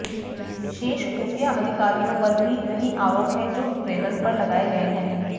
शेष खुफिया अधिकारियों पर भी वही आरोप हैं जो ब्रेनन पर लगाए गए हैं